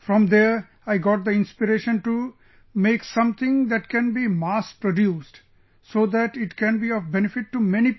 From there, I got the inspiration to make something that can be mass produced, so that it can be of benefit to many people